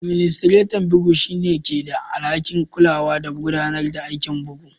Administretan bugu shine ke da alhaki'n kulawa da gudanarwa aikin bugu.